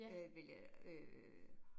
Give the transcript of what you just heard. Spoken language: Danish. Øh ville jeg øh